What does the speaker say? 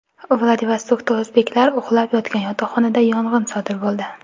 Vladivostokda o‘zbeklar uxlab yotgan yotoqxonada yong‘in sodir bo‘ldi .